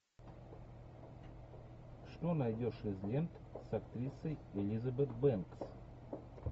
что найдешь из лент с актрисой элизабет бэнкс